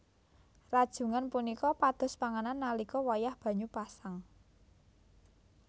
Rajungan punika pados panganan nalika wayah banyu pasang